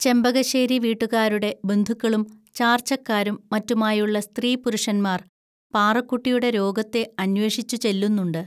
ചെമ്പകശ്ശേരി വീട്ടുകാരുടെ ബന്ധുക്കളും ചാർച്ചക്കാരും മറ്റുമായുള്ള സ്ത്രീപുരുഷന്മാർ പാറുക്കുട്ടിയുടെ രോഗത്തെ അന്വേഷിച്ചുചെല്ലുന്നുണ്ട്